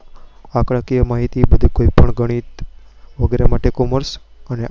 આંકડાકીય માહિતી માંથી કોઈ પણ ગણિત વગેરે માટે commerce અને